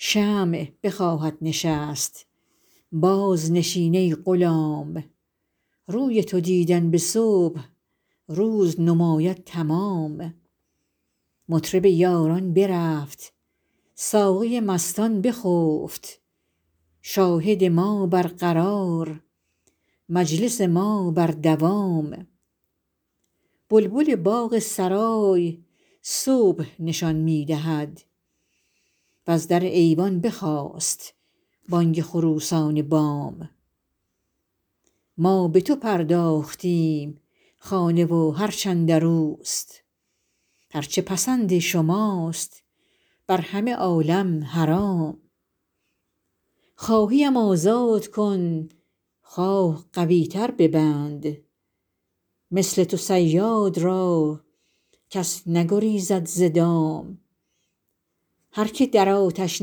شمع بخواهد نشست بازنشین ای غلام روی تو دیدن به صبح روز نماید تمام مطرب یاران برفت ساقی مستان بخفت شاهد ما برقرار مجلس ما بر دوام بلبل باغ سرای صبح نشان می دهد وز در ایوان بخاست بانگ خروسان بام ما به تو پرداختیم خانه و هرچ اندر اوست هر چه پسند شماست بر همه عالم حرام خواهی ام آزاد کن خواه قوی تر ببند مثل تو صیاد را کس نگریزد ز دام هر که در آتش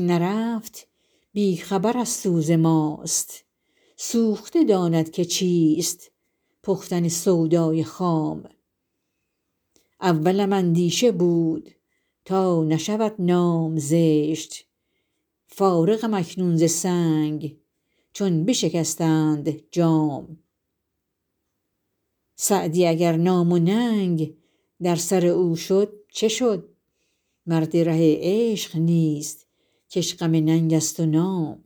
نرفت بی خبر از سوز ماست سوخته داند که چیست پختن سودای خام اولم اندیشه بود تا نشود نام زشت فارغم اکنون ز سنگ چون بشکستند جام سعدی اگر نام و ننگ در سر او شد چه شد مرد ره عشق نیست که اش غم ننگ است و نام